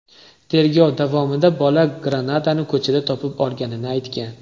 Tergov davomida bola granatani ko‘chada topib olganini aytgan.